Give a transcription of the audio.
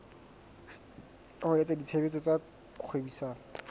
wa etsa tshebetso tsa kgwebisano